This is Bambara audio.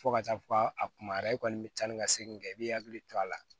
Fo ka taa fɔ ka a kumayara i kɔni bɛ taa ni ka segin kɛ i b'i hakili to a la